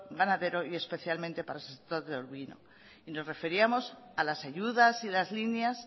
ganadero y especialmente para el sector de ovino y nos referíamos a las ayudas y las líneas